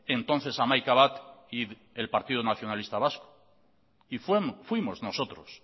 entonces hamaikabat y el partido nacionalista vasco y fuimos nosotros